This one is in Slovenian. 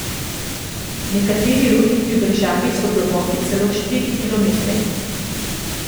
Nekateri rudniki v državi so globoki celo štiri kilometre.